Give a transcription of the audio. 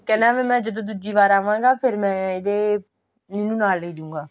ਕਹਿੰਦਾ ਮੈਂ ਜਦੋਂ ਦੂਜੀ ਵਾਰ ਆਵਾਗਾ ਫ਼ੇਰ ਮੈਂ ਇਹਦੇ ਇਹਨੂੰ ਨਾਲ ਲੇਜੂਗਾ